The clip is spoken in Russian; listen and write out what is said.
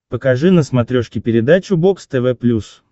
покажи на смотрешке передачу бокс тв плюс